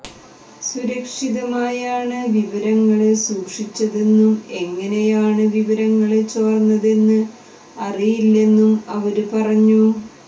സുരക്ഷിതമായാണ് വിവരങ്ങള് സൂക്ഷിച്ചതെന്നും എങ്ങനെയാണ് വിവരങ്ങള് ചോര്ന്നതെന്ന് അറിയില്ലെന്നും അവര് പറഞ്ഞു